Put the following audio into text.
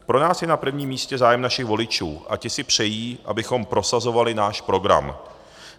Pro nás je na prvním místě zájem našich voličů a ti si přejí, abychom prosazovali náš program.